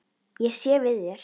Ég sé við þér.